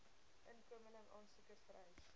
inkomeling aansoekers vereis